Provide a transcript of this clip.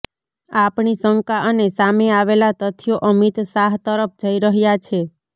આપણી શંકા અને સામે આવેલા તથ્યો અમિત શાહ તરફ જઈ રહ્યા છે